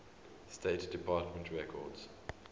state department records